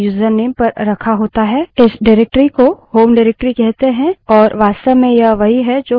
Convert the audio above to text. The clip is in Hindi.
इस निर्देशिका directory को home निर्देशिका directory कहते हैं और यह वास्तव में यह वही है जो home variable में उपलब्ध है